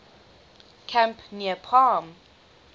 camp near palm